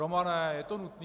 Romane, je to nutné?